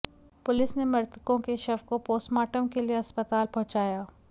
police ने मृतको के शव को पोस्टमार्टम के लिए अस्पताल पहुंचया